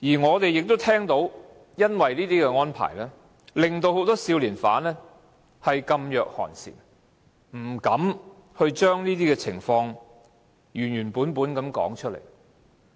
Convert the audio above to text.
我們亦聽到由於這些安排，令很多少年犯噤若寒蟬，不敢把情況原原本本地說出來。